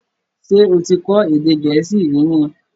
Ṣé o ti kọ́ èdè Gẹ̀ẹ́sì rí ni?